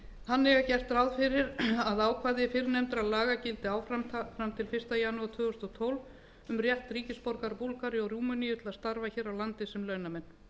þannig er gert ráð fyrir að ákvæði fyrrnefndra laga gildi áfram fram til fyrsta janúar tvö þúsund og tólf um rétt ríkisborgara búlgaríu og rúmeníu til að starfa hér á landi sem launamenn